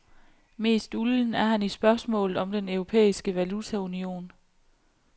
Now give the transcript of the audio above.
Mest ulden er han i spørgsmålet om den europæiske valutaunion.